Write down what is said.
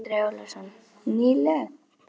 Andri Ólafsson: Nýleg?